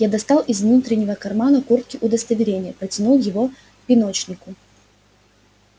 я достал из внутреннего кармана куртки удостоверение протянул его пеночкину